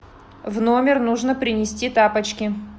в номер нужно принести тапочки